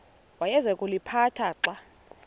awayeza kuliphatha xa